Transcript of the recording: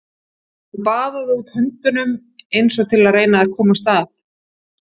Hann baðaði út höndunum eins og til að reyna að komast að.